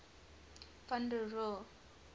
van der rohe